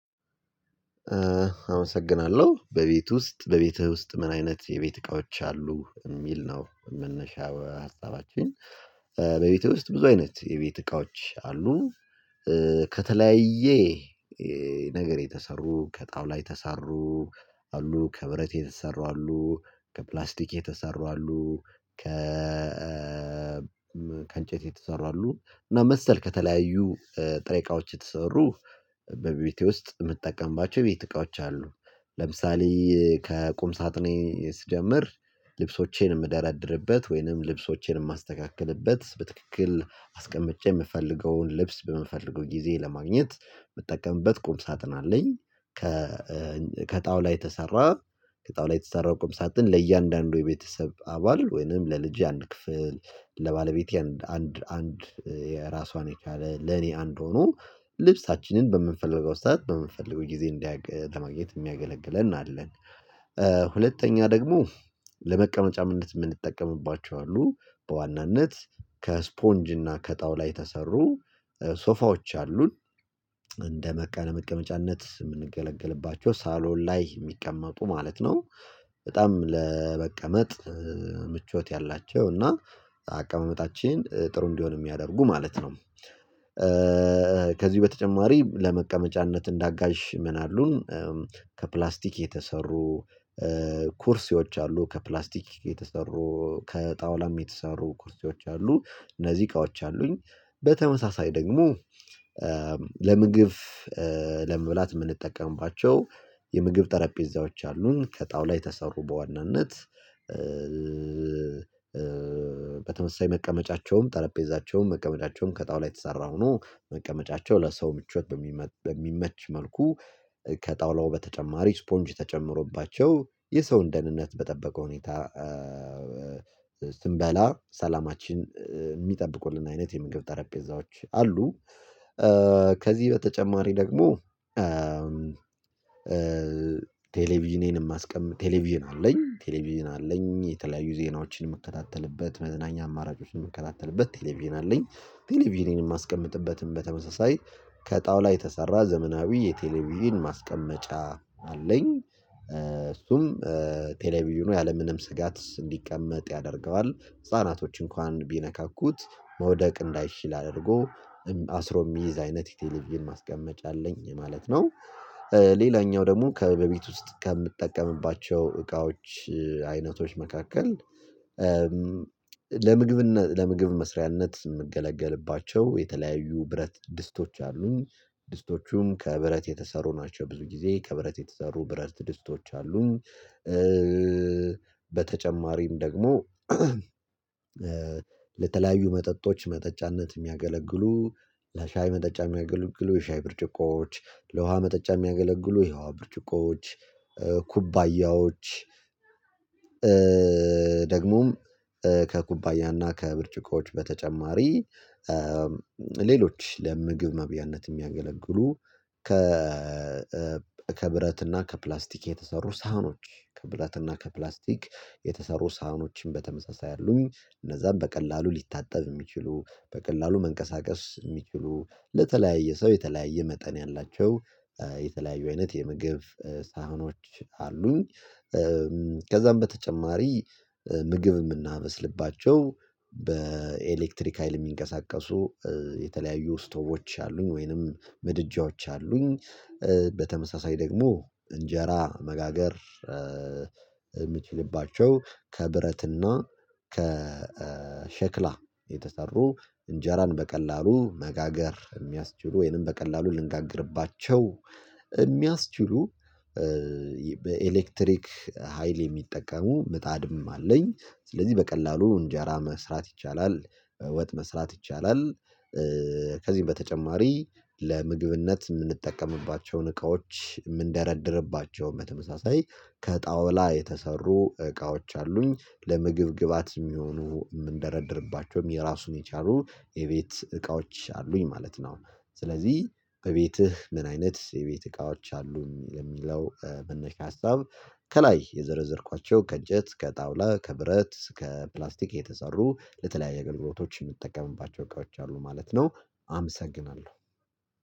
አመሰግናለሁ በቤት ውስጥ በቤትህ ውስጥ ምን አይነት የቤት እቃዎች አሉ የሚል ነው መነሻ ሀሳባችን። በቤቴ ውስጥ ብዙ አይነት የቤት እቃዎች አሉን። ከተለያየ ነገር የተሰሩ ከጣውላ ተሰሩ አሉ ከብረት የተሰሩ አሉ ከፕላስቲክ የተሰሩ አሉ ከ ከእንጨት የተሰሩ አሉ እና መሰል ከተለያዩ ጥሬ እቃዎች የተሰሩ በቤቴ ውስጥ የምጠቀምባቸው የቤት እቃዎች አሉ። ለምሳሌ ከቁም ሳጥኔ ስጀምር ልብሶቼን የምደራደርበት ወይንም ልብሶቼን የማስተካክልበት በትክክል አስቀምጬ የምፈልገውን ልብስ በምፈልገው ጊዜ ለማግኘት የምጠቀምበት ቁም ሳጥን አለኝ። ከ ከጣውላ ተሰራ ከጣውላ የተሰራው ቁም ሳጥን ለእያንዳንዱ የቤተሰብ አባል ወይንም ለልጄ አንድ ክፍል ለባለቤቴ አንድ አንድ የራሷን የቻለ ለኔ አንድ ሆኖ ልብሳችንን በምንፈልገው ስህተት በምንፈልገው ጊዜ እንዲያውቅ እንዲያገለግለን የሚያገለግለን አለን። ሁለተኛ ደግሞ ለመቀመጫምነት የምንጠቀምባቸው አሉ በዋናነት ከስፖንጅ እና ከጣውላ ተሰሩ ሶፋዎች አሉን። እንደመቀነ መቀመጫነት የምንገለገልባቸው ሳሎን ላይ የሚቀመጡ ማለት ነው። በጣም ለመቀመጥ ምቾት ያላቸው እና አቀማመጣችን ጥሩ እንዲሆን የሚያደርጉ ማለት ነው። ከዚህ በተጨማሪ ለመቀመጫነት እንዳጋዥ ምን አሉን? ከፕላስቲክ የተሰሩ ኩርሲዎች አሉ ከፕላስቲክ የተሰሩ ከጣውላም የተሰሩ ኩርሲዎች አሉ። እነዚህ እቃዎች አሉኝ። በተመሳሳይ ደግሞ ለምግብ ለመብላት የምንጠቀምባቸው የምግብ ጠረጴዛዎች አሉን ከጣውላ የተሰሩ በዋናነት። በተመሳሳይ መቀመጫቸውም ጠረጴዛቸውም መቀመጫቸውን ከጣውላ የተሰራ ሆኖ መቀመጫቸው ለሰው ምቾት በሚመች መልኩ ከጣውላ በተጨማሪ ስፖንጅ ተጨምሮባቸው የሰውን ደህንነት በጠበቀ ሁኔታ ሰላማችን የሚጠብቁልን አይነት የምግብ ጠረጴዛዎች አሉ። ከዚህ በተጨማሪ ደግሞ። ቴሌቪዥኔንም አስቀምጥ ቴሌቪዥን አለኝ ቴሌቪዥን አለኝ የተለያዩ ዜናዎችን የምከታተልበት መዝናኛ አማራጮችን የምከታተልበት ቴሌቪዥን አለኝ። ቴሌቪዥንም የማስቀምጥበትን በተመሳሳይ ከጣውላ የተሰራ ዘመናዊ የቴሌቪዥን ማስቀመጫ አለኝ። እሱም ቴሌቪዥኑ ያለምንም ስጋት እንዲቀመጥ ያደርገዋል ህፃናቶች እንኳን ቢነካኩት መውደቅ እንዳይችል አድርጎ አስሮ የሚይዝ አይነት የቴሌቪዥን ማስቀመጫ አለኝ ማለት ነው። ሌላኛው ደግሞ ከበቤት ውስጥ ከምጠቀምባቸው እቃዎች አይነቶች መካከል። ለምግብነት ለምግብ መስሪያነት። የተለያዩ ብረት ድስቶች አሉኝ። ድስቶቹም ከብረት የተሰሩ ናቸው ብዙ ጊዜ ከብረት የተሰሩ ብረት ድስቶች አሉን። በተጨማሪም ደግሞ። ለተለያዩ መጠጦች መጠጫነት የሚያገለግሉ ለሻይ መጠጫ የሚያገለግሉ የሻይ ብርጭቆዎች ለውሃ መጠጫ የሚያገለግሉ የውሃ ብርጭቆዎች ኩባያዎች ደግሞም ከኩባያና ከብርጭቆች በተጨማሪ ሌሎች ለምግብ መብያነት የሚያገለግሉ ከ ከፕላስቲክ የተሰሩ ሳህኖች ከብረትና ከፕላስቲክ የተሰሩ ሳህኖችን በተመሳሳይ አሉኝ እነዛን በቀላሉ ሊታጠብ የሚችሉ በቀላሉ መንቀሳቀስ የሚችሉ ለተለያየ ሰው የተለያየ መጠን ያላቸው የተለያዩ አይነት የምግብ ሳህኖች አሉኝ። ከዛም በተጨማሪ ምግብ የምናበስልባቸው በኤሌክትሪክ ሀይል የሚንቀሳቀሱ የተለያዩ ስቶቦች አሉኝ ወይንም ምድጃዎች አሉኝ። በተመሳሳይ ደግሞ እንጀራ መጋገር የሚችልባቸው ከብረትና ከ ከሸክላ የተሰሩ እንጀራን በቀላሉ መጋገር የሚያስችሉ ወይንም በቀላሉ ልንጋግርባቸው የሚያስችሉ በኤሌክትሪክ ሀይል የሚጠቀሙ ምጣድም አለኝ። ስለዚህ በቀላሉ እንጀራ መስራት ይቻላል ወጥ መስራት ይቻላል። ከዚህ በተጨማሪ ለምግብነት የምንጠቀምባቸውን እቃዎች ምንደረድርባቸው በተመሳሳይ ከጣውላ የተሰሩ እቃዎች አሉኝ ለምግብ ግብአት የሚሆኑ የምንደረድርባቸውም የራሱን የቻሉ የቤት እቃዎች አሉኝ ማለት ነው። ስለዚህ እቤትህ ምን አይነት የቤት እቃዎች አሉን ለሚለው መነሻ ሀሳብ። ከላይ የዘረዘርኳቸው ከእንጨት ከጣውላ ከብረት ከፕላስቲክ የተሰሩ ለተለያዩ አገልግሎቶች የምጠቀምባቸው እቃዎች አሉ ማለት ነው። አመሰግናለሁ